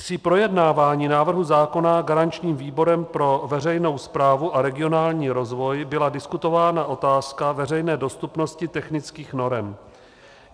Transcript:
Při projednávání návrhu zákona garančním výborem pro veřejnou správu a regionální rozvoj byla diskutována otázka veřejné dostupnosti technických norem.